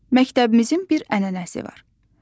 Məktəbimizin bir ənənəsi də var.